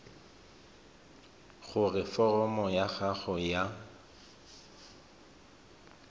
gore foromo ya gago ya